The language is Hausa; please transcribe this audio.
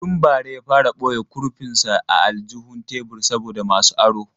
Tun bara ya fara boye kurfin sa a aljihun tebur saboda masu aro.